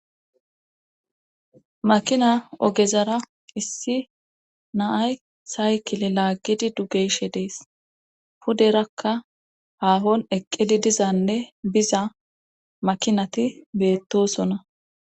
makina ogezara issi naay saykile laaggidi dugeyshe dees puderakka haafon eqqidi dizanne biza makinati beettosona